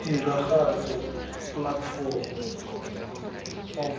tiragatso platform of